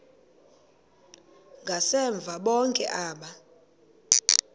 ngasemva bonke aba